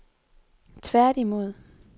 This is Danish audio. tværtimod